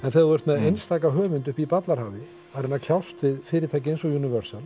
en þegar þú ert með einstaka höfund uppi í ballarhafi að reyna að kljást við fyrirtæki eins og